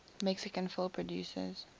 mexican film producers